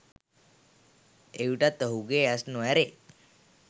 එවිටත් ඔහුගේ ඇස් නොඇරේ